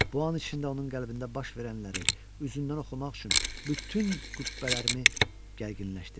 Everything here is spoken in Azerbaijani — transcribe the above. Bu an içində onun qəlbində baş verənləri üzündən oxumaq üçün bütün qübbələrimi gərginləşdirdim.